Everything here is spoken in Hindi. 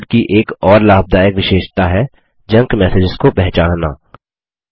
थंडरबर्ड की एक और लाभदायक विशेषता है जंक मैसेजेस को पहचानना